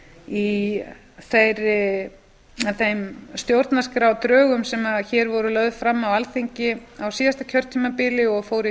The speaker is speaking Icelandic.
í þeim stjórnarskrárdrögum sem hér voru lögð fram á alþingi á síðasta kjörtímabili og fóru